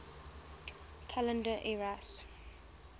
calendar eras